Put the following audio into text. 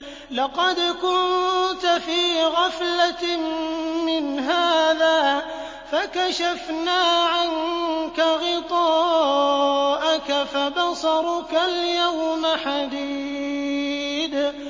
لَّقَدْ كُنتَ فِي غَفْلَةٍ مِّنْ هَٰذَا فَكَشَفْنَا عَنكَ غِطَاءَكَ فَبَصَرُكَ الْيَوْمَ حَدِيدٌ